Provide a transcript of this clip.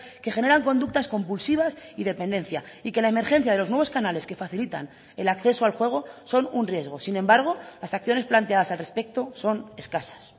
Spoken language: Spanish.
que generan conductas compulsivas y dependencia y que la emergencia de los nuevos canales que facilitan el acceso al juego son un riesgo sin embargo las acciones planteadas al respecto son escasas